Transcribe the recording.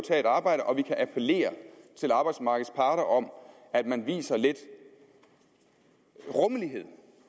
tage et arbejde og vi kan appellere til arbejdsmarkedets parter om at man viser lidt rummelighed